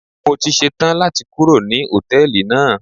Mo ti ṣe tán láti kúrò ní Hòtẹ́lìì náà.